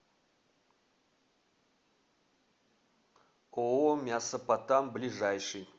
ооо мясопотам ближайший